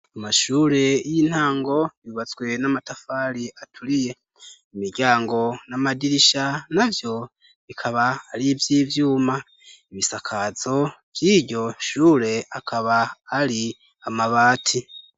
Amashure y'intango yubatswe n'amatafari aturiye. Imiryango n'amadirisha navyo bikaba ari ivy'ivyuma. Ibisakazo vy'iryo shure akaba ari amabati.